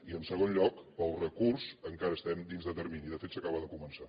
i en segon lloc per al recurs encara estem dins de termini de fet s’acaba de començar